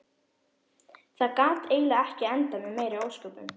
Það gat eiginlega ekki endað með meiri ósköpum.